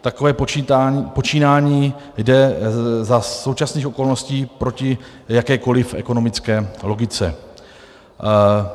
Takové počínání jde za současných okolností proti jakékoliv ekonomické logice.